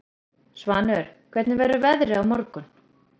Svanur, hvernig verður veðrið á morgun?